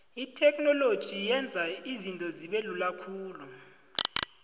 itheknoloji yenza izinto zibelula khulu